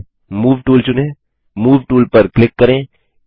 toolbar से move tool चुनें move tool पर क्लिक करें